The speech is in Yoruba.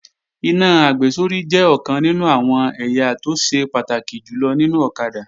Iná àgbésórí jẹ́ ọ̀kan nínú àwọn ẹ̀yà tó ṣe pàtàkì jùlọ nínú ọ̀kadà